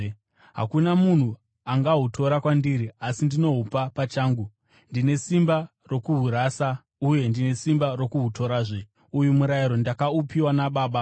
Hakuna munhu angahutora kwandiri, asi ndinohupa pachangu. Ndine simba rokuhurasa uye ndine simba rokuhutorazve. Uyu murayiro ndakaupiwa naBaba.”